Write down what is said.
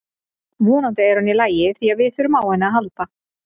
Vonandi er hún í lagi því við þurfum á henni að halda.